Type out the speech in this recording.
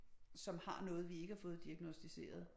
Som har noget vi ikke har fået diagnosticeret